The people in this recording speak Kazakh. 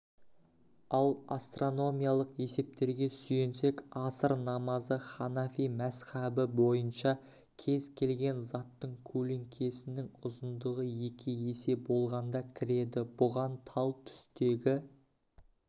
ал астрономиялық есептерге сүйенсек аср намазы ханафи мәзһабы бойынша кез келген заттың көлеңкесінің ұзындығы екі есе болғанда кіреді бұған тал түстегі